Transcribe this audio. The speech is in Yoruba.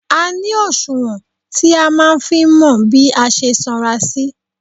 A ní òṣùwọ̀n *tí a máa ń fi mọ bí a ṣe sanra sí.